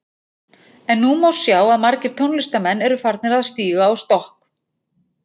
En nú má sjá að margir tónlistarmenn eru að farnir að stíga á stokk.